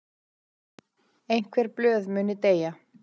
Einhver blöð muni deyja